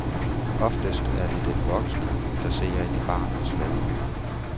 Oftest er det den voksne, der ser ind i barnets verden.